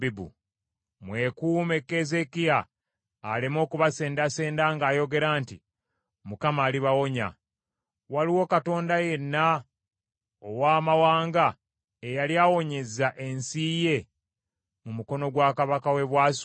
“Mwekuume Keezeekiya aleme okubasendasenda ng’ayogera nti, ‘ Mukama alibalokola.’ Waliwo katonda yenna ow’amawanga eyali awonyezza ensi ye mu mukono gwa kabaka w’e Bwasuli?